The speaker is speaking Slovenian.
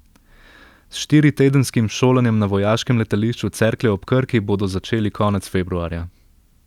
S štiritedenskim šolanjem na vojaškem letališču Cerklje ob Krki bodo začeli konec februarja.